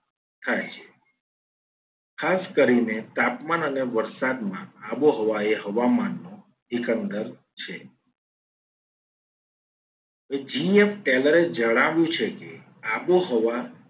થાય છે. ખાસ કરીને તાપમાન અને વરસાદમાં આબોહવા એ હવામાનનું એકંદર છે. એ g f talor એ જણાવ્યું છે. કે આબોહવા